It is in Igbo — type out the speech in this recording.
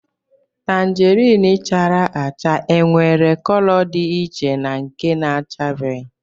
Tangerine chara acha e nwere cọlọ dị iche na nke na-achabeghi